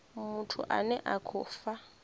muthu ane a khou fha